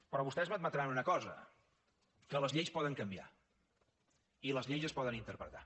però vostès m’han d’admetre una cosa que les lleis poden canviar i les lleis es poden interpretar